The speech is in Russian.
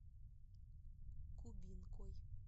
кубинкой